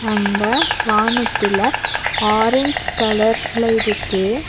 அங்க வானத்துல ஆரஞ்சு கலர்ல இருக்கு.